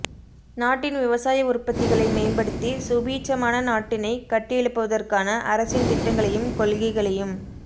நாட்டின் விவசாய உற்பத்திகளை மேம்படுத்தி சுபீட்சமான நாட்டினைக் கட்டியெழுப்புவதற்கான அரசின் திட்டங்களையும் கொள்கைகளையும்